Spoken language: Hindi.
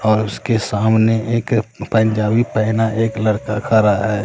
और उसके सामने एक पंजाबी पहने एक लड़का खरा है।